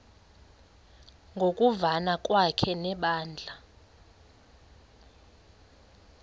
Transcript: ngokuvana kwakhe nebandla